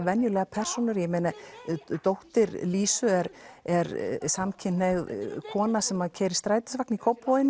venjulegar persónur dóttir Lísu er er samkynhneigð kona sem keyrir strætisvagn í Kópavogi